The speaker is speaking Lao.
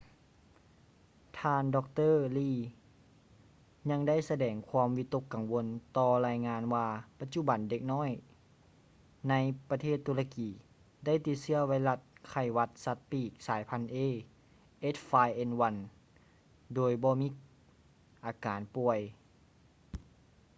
ທ່ານ ດຣ. lee ຍັງໄດ້ສະແດງຄວາມວິຕົກກັງວົນຕໍ່ລາຍງານວ່າປັດຈຸບັນເດັກນ້ອຍໃນປະເທດຕຸລະກີ ໄດ້ຕິດເຊື້ອໄວຣັດໄຂ້ຫວັດສັດປີກສາຍພັນ a h5n1 ໂດຍບໍ່ມີອາການປ່ວຍ